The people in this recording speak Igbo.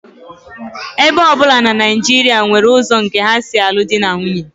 Ebo ọ bụla na Naijiria nwere ụzọ nke ha si alụ di na nwunye